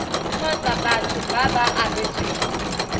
kgotsa batho ba ba abetsweng